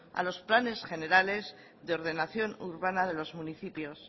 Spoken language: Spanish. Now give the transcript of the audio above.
a los planes generales de ordenación urbana de los municipios